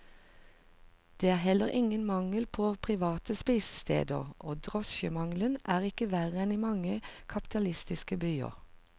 Det er heller ingen mangel på private spisesteder, og drosjemangelen er ikke verre enn i mange kapitalistiske byer.